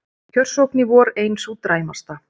Kjörsókn í vor ein sú dræmasta